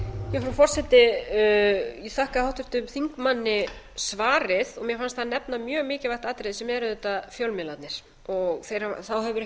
frú forseti ég þakka háttvirtum þingmanni svarið mér fannst hann nefna mjög mikilvægt atriði sem er auðvitað fjölmiðlarnir þá hefur ekki